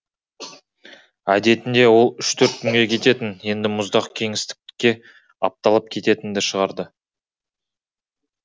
әдетінде ол үш төрт күнге кететін енді мұздақ кеңістікке апталап кететінді шығарды